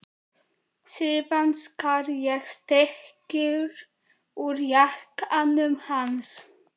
Síðan skar ég stykki úr jakkanum hans.